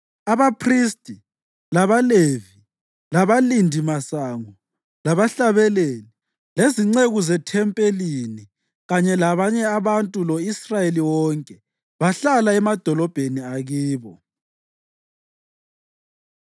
Abaphristi, labaLevi, labalindimasango, labahlabeleli, lezinceku zethempelini, kanye labanye abantu lo-Israyeli wonke, bahlala emadolobheni akibo.